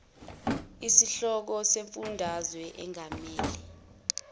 inhloko yesifundazwe engamele